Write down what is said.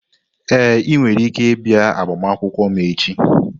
Ee, ị nwere ike ịbịa agbamakwụkwọ m echi.